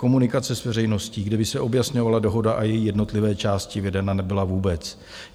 Komunikace s veřejností, kde by se objasňovala dohoda a její jednotlivé části, vedena nebyla vůbec.